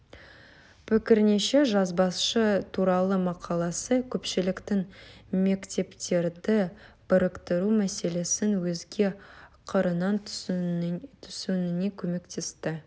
пікірінше жазбасы туралы мақаласы көпшіліктің мектептерді біріктіру мәселесін өзге қырынан түсінуіне көметесті